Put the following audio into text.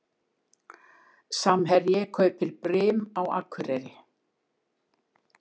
Samherji kaupir Brim á Akureyri